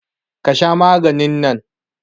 Ka Sha maganin nan.